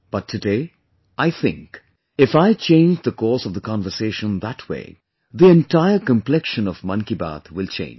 But today, I think, if I change the course of the conversation that way, the entire complexion of 'Mann Ki Baat' will change